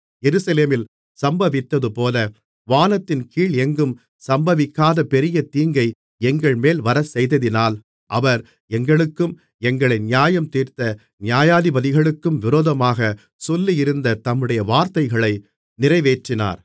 எருசலேமில் சம்பவித்ததுபோல வானத்தின்கீழ் எங்கும் சம்பவிக்காத பெரிய தீங்கை எங்கள்மேல் வரச்செய்ததினால் அவர் எங்களுக்கும் எங்களை நியாயந்தீர்த்த நியாயாதிபதிகளுக்கும் விரோதமாகச் சொல்லியிருந்த தம்முடைய வார்த்தைகளை நிறைவேற்றினார்